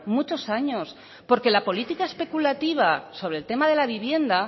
muchos años porque la política especulativa sobre el tema de la vivienda